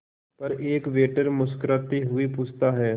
पर एक वेटर मुस्कुराते हुए पूछता है